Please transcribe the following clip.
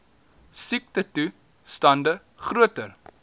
siektetoe stande groter